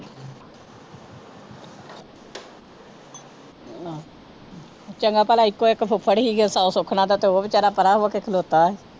ਚੰਗਾ ਭਲਾ ਇੱਕੋ ਇੱਕ ਫੁੱਫੜ ਸੀਗਾ ਉਹ ਸੁ ਸੁੱਖ ਨਾਲ ਤਾਂ ਉਹ ਬੇਚਾਰਾ ਪਰਾ ਹੋ ਕੇ ਖਲੌਤਾ।